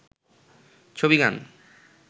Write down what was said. ছবিগান